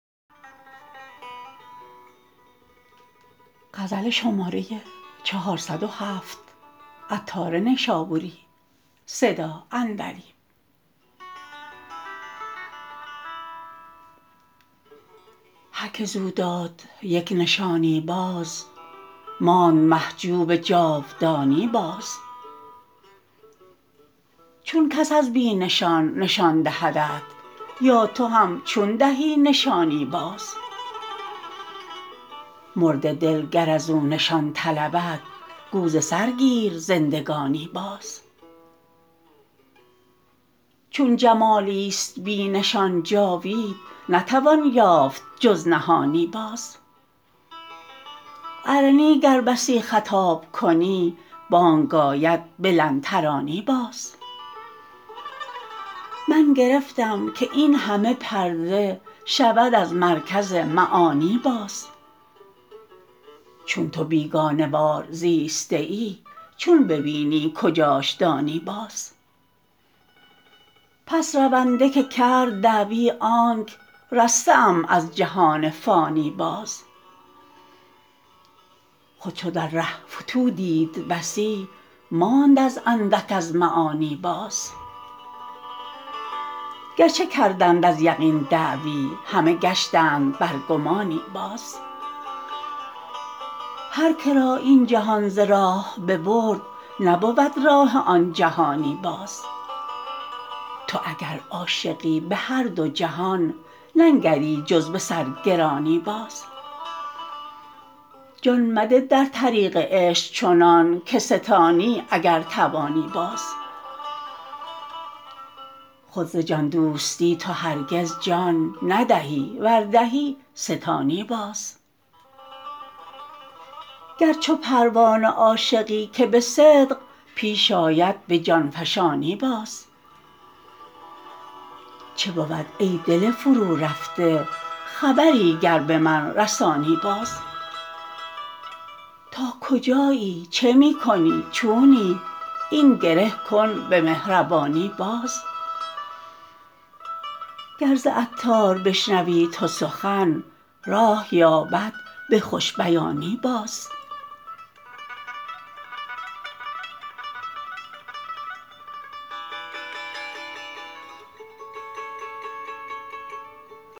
هر که زو داد یک نشانی باز ماند محجوب جاودانی باز چون کس از بی نشان نشان دهدت یا تو هم چون دهی نشانی باز مرده دل گر ازو نشان طلبد گو ز سر گیر زندگانی باز چون جمالی است بی نشان جاوید نتوان یافت جز نهانی باز ارنی گر بسی خطاب کنی بانگ آید به لن ترانی باز من گرفتم که این همه پرده شود از مرکز معانی باز چون تو بیگانه وار زیسته ای چون ببینی کجاش دانی باز پس رونده که کرد دعوی آنک رسته ام از جهان فانی باز خود چو در ره فتوح دید بسی ماند از اندک از معانی باز گرچه کردند از یقین دعوی همه گشتند بر گمانی باز هر که را این جهان ز راه ببرد نبود راه آن جهانی باز تو اگر عاشقی به هر دو جهان ننگری جز به سرگرانی باز جان مده در طریق عشق چنان که ستانی اگر توانی باز خود ز جان دوستی تو هرگز جان ندهی ور دهی ستانی باز گر چو پروانه عاشقی که به صدق پیش آید به جان فشانی باز چه بود ای دل فرو رفته خبری گر به من رسانی باز تا کجایی چه می کنی چونی این گره کن به مهربانی باز گر ز عطار بشنوی تو سخن راه یابد به خوش بیانی باز